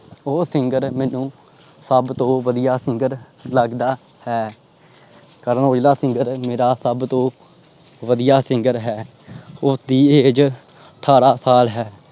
ਉਹ singer ਮੈਨੂੰ ਹੱਦ ਤੋਂ ਵਧੀਆ singer ਲੱਗਦਾ ਹੈ। ਕਰਨ ਔਜਲਾ singer ਮੇਰਾ ਸਬ ਤੋਂ ਵਧੀਆ singer ਹੈ। ਉਸਦੀ age ਠਾਰਾਂ ਸਾਲ ਹੈ।